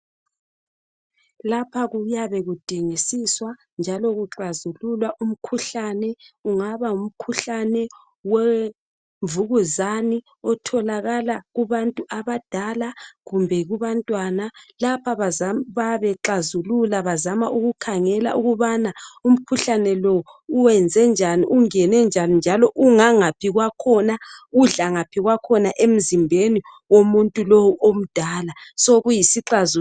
lapha kuyabe kudingisiswa njalo kuxhazululwa umkhuhlane kungaba ngumkhuhlane wemvukuzane otholakala kubantu abadala kumbe kubantwana lapha bayabe bexazulula bazama ukukhangela ukubana umkhuhlane uwenze njani ungene njani njalo ungangaphi kwakhona udla ngaphi kwakhona emzimbeni omuntu lowu omdala sokuyisixazululo